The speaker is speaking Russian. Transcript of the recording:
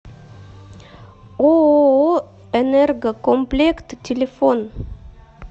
ооо энергокомплект телефон